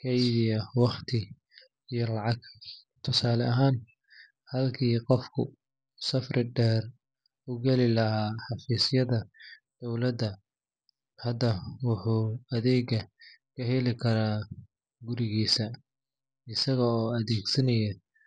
kaydiyaa waqti iyo lacag. Tusaale ahaan, halkii qofku uu safar dheer u gali lahaa xafiiska dowladda, hadda wuxuu adeegga ka heli karaa gurigiisa isagoo adeegsanaya.